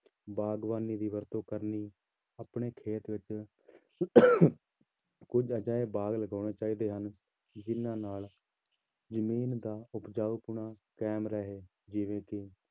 ਬਾਗ਼ਬਾਨੀ ਦੀ ਵਰਤੋਂ ਕਰਨੀ ਆਪਣੇ ਖੇਤ ਵਿੱਚ ਕੁੱਝ ਅਜਿਹੇ ਬਾਗ਼ ਲਗਾਉਣੇ ਚਾਹੀਦੇ ਹਨ, ਜਿੰਨਾਂ ਨਾਲ ਜ਼ਮੀਨ ਦਾ ਉਪਜਾਊਪੁਣਾ ਕਾਇਮ ਰਹੇ ਜਿਵੇਂ ਕਿ